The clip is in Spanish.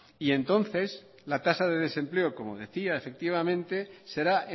y entonces la tasa de desempleo como decía efectivamente será